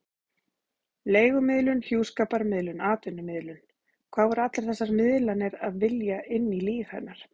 Leigumiðlun, hjúskaparmiðlun, atvinnumiðlun: hvað voru allar þessar miðlanir að vilja inn í líf hennar?